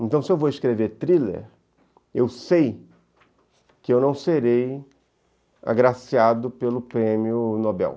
Então, se eu vou escrever thriller, eu sei que eu não serei agraciado pelo prêmio Nobel.